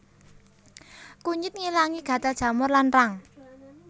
Kunyit ngilangi gatel jamur lan rang